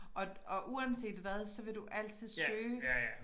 Og og uanset hvad så vil du altid søge